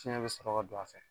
Fiɲɛ bi sɔrɔ ka don a fɛ.